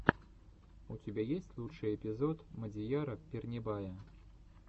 у тебя есть лучший эпизод мадияра пернебая